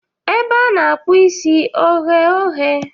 Ebe a na-akpụ isi oghe oghe?